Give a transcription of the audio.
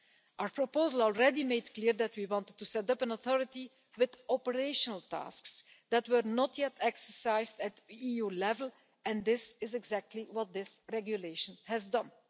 Our proposal already made clear that we wanted to set up an authority with operational tasks that were not yet exercised at EU level, and this is exactly what this regulation has done.